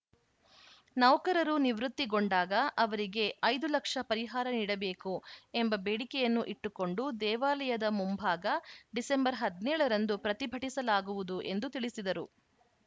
ನೌಕರರು ನಿವೃತ್ತಿಗೊಂಡಾಗ ಅವರಿಗೆ ಐದು ಲಕ್ಷ ಪರಿಹಾರ ನೀಡಬೇಕು ಎಂಬ ಬೇಡಿಕೆಯನ್ನು ಇಟ್ಟುಕೊಂಡು ದೇವಾಲಯದ ಮುಂಭಾಗ ಡಿಸೆಂಬರ್ ಹದಿನೇಳ ರಂದು ಪ್ರತಿಭಟಿಸಲಾಗುವುದು ಎಂದು ತಿಳಿಸಿದರು